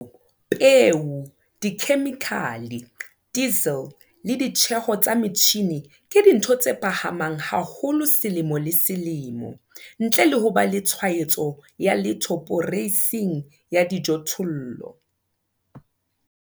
Manyolo, peo, dikhemikhale, diesel le ditjeho tsa metjhine ke dintho tse phahamang haholo selemo le selemo - ntle le ho ba le tshwaetso ya letho poreising ya dijothollo.